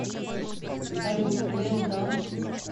салют лео дан